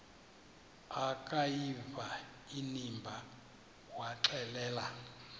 akuyiva inimba waxelela